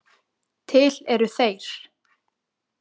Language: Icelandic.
Til eru þeir.